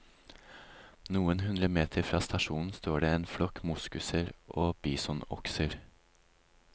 Noen hundre meter fra stasjonen står det en flokk moskuser og bisonokser.